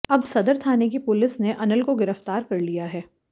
अब सदर थाने की पुलिस ने अनिल को गिरफ्तार कर लिया है